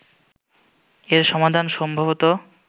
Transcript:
এর সমাধান সম্ভবত